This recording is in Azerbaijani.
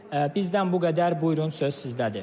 Bizdən bu qədər, buyurun söz sizdədir.